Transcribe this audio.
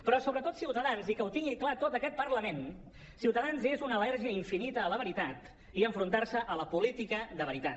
però sobretot i que ho tingui clar tot aquest parlament ciutadans és una al·lèrgia infinita a la veritat i a enfrontar se a la política de veritat